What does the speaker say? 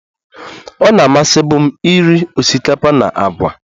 Ọ na-amasịbụ m iri osikapa na agwa